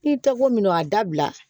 I tɛ ko min a dabila